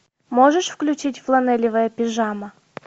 можешь включить фланелевая пижама